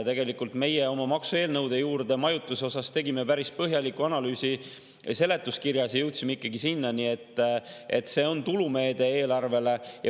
Tegelikult tegime oma maksueelnõude juurde majutuse kohta päris põhjaliku analüüsi seletuskirjas ja jõudsime ikkagi selleni, et see on tulumeede eelarvele.